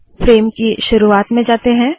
frame की शुरुवात में जाते है